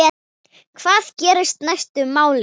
Hvað gerist næstu mánuði?